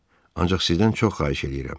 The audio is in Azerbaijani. Ancaq sizdən çox xahiş eləyirəm.